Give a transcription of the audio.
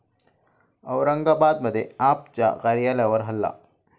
औरंगाबादमध्ये 'आप'च्या कार्यालयावर हल्ला